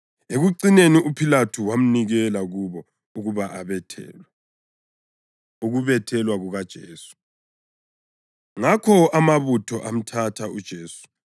Ekucineni uPhilathu wamnikela kubo ukuba abethelwe. Ukubethelwa KukaJesu Ngakho amabutho amthatha uJesu.